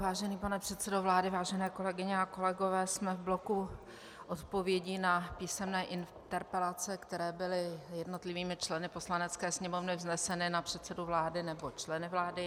Vážený pane předsedo vlády, vážené kolegyně a kolegové, jsme v bloku odpovědí na písemné interpelace, které byly jednotlivými členy Poslanecké sněmovny vzneseny na předsedu vlády nebo členy vlády.